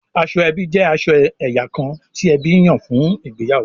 Aṣọ ẹbí jẹ aṣọ ẹyà kán ti ẹbí nyan fún ìgbéyàwó